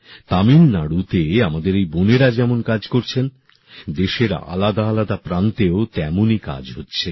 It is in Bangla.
তামিলনাড়ুতে আমাদের এই বোনেরা যেমন কাজ করছেন দেশের আলাদা আলাদা প্রান্তেও তেমনই কাজ হচ্ছে